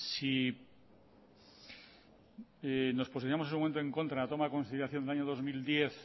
si nos posicionamos en su momento en contra de la toma en consideración del año dos mil diez